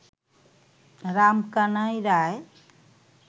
Ramkanai Roy